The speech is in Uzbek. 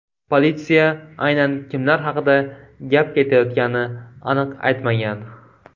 Politsiya aynan kimlar haqida gap ketayotgani aniq aytmagan.